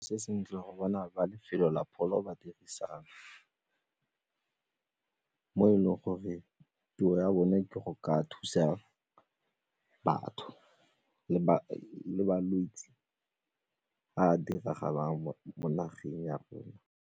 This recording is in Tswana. Se sentle go bona ba lefelo la pholo ba dirisana mo e leng gore tiro ya bone ke go ka thusa batho le malwetse a a diragalang mo nageng ya rona.